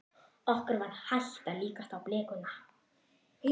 Okkur var hætt að lítast á blikuna.